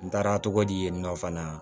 N taara togo di yen nɔ fana